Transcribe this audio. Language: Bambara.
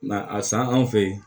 Nka a san anw fɛ yen